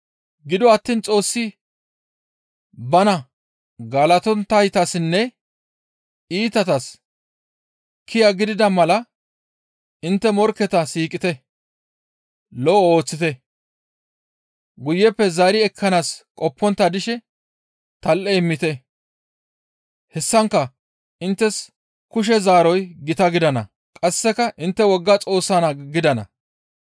Gido attiin Xoossi bana galatonttaytassinne iitatas kiya gidida mala intte morkketa siiqite; lo7o ooththite; guyeppe zaari ekkanaas qoppontta dishe tal7e immite; hessankka inttes kushe zaaroy gita gidana; qasseka intte wogga Xoossaa naa gidana.